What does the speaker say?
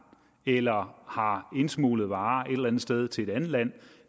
eller har indsmuglet varer et eller andet sted til et andet land